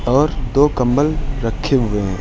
और दो कंबल रखे हुए है।